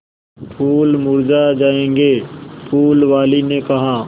फूल मुरझा जायेंगे फूल वाली ने कहा